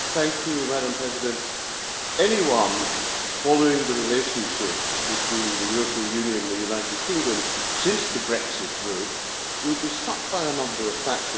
Madam President, anyone following the relationship between the European Union and the United Kingdom since the Brexit vote will be struck by a number of factors.